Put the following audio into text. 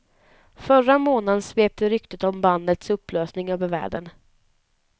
Förra månaden svepte ryktet om bandets upplösning över världen.